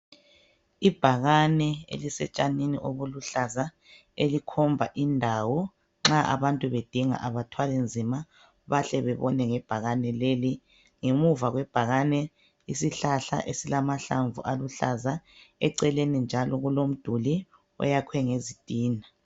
Ibhakane elisetshanini obuluhlaza elikhomba indawo , nxa abantu bedinga abathwaki nzima bayahle bebone ngebhakani leli. Ngemuva kwebhakani isihlahla esilamahlamvu esilamahlamvu aluhlaza, eceleni njalo kulomduli oyakhwe ngezitina.